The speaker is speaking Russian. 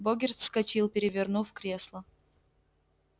богерт вскочил перевернув кресло